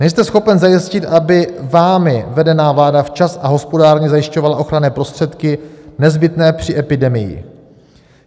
Nejste schopen zajistit, aby vámi vedená vláda včas a hospodárně zajišťovala ochranné prostředky nezbytné při epidemii.